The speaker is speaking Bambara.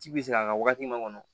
Ji bi sigi a ka wagati ma kɔnɔ